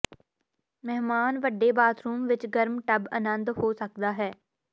ਮਹਿਮਾਨ ਵੱਡੇ ਬਾਥਰੂਮ ਵਿਚ ਗਰਮ ਟੱਬ ਆਨੰਦ ਹੋ ਸਕਦਾ ਹੈ